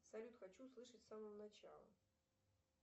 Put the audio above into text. салют хочу услышать с самого начала